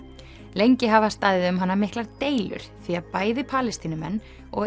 lengi hafa staðið um hana miklar deilur því að bæði Palestínumenn og